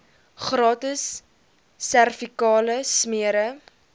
gratis servikale smere